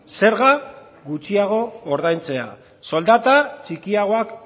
zerga gutxiago ordaintzea soldata txikiagoak